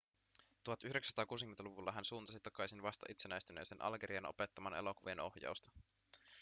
1960-luvulla hän suuntasi takaisin vasta itsenäistyneeseen algeriaan opettamaan elokuvien ohjausta